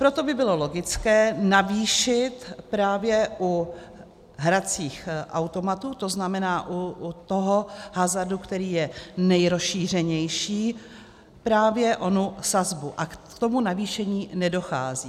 Proto by bylo logické navýšit právě u hracích automatů, to znamená u toho hazardu, který je nejrozšířenější, právě onu sazbu, a k tomu navýšení nedochází.